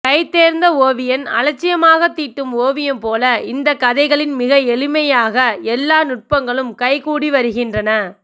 கை தேர்ந்த ஓவியன் அலட்சியமாக தீட்டும் ஓவியம் போல இந்த கதைகளில் மிக எளிமையாக எல்லா நுட்பங்களும் கைகூடி வருகின்றன